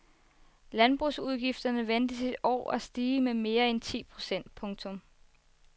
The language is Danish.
Landbrugsudgifterne ventes i år at stige med mere end ti procent. punktum